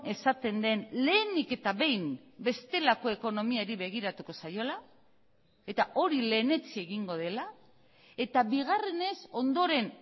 esaten den lehenik eta behin bestelako ekonomiari begiratuko zaiola eta hori lehenetsi egingo dela eta bigarrenez ondoren